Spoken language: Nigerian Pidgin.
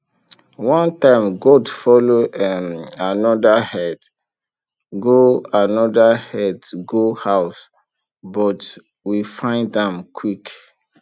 one time goat follow um another herd go another herd go house but we find am quick